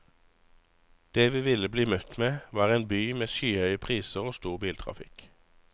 Det vi ville bli møtt med var en by med skyhøye priser og stor biltrafikk.